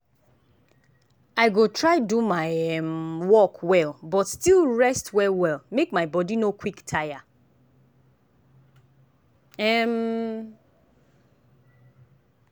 i go try do my um work well but still rest well well make my body no quick tire. um